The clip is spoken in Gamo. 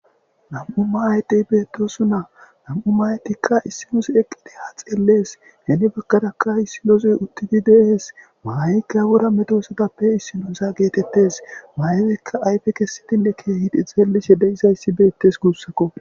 Nam'u maayetiy beettosu na nam7u maayetikka issinos eqqideeha xeellees heni baggadakka issinozoy uttidi deehees maayikkayawura medosadappe issinoza geetettes maayetikka ayfe kessitinne keehidi xeelishe deyizayssi beettes guussakko.